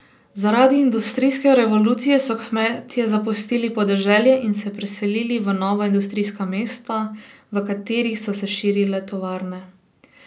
Zaradi industrijske revolucije so kmetje zapustili podeželje in se preselili v nova industrijska mesta, v katerih so se širile tovarne.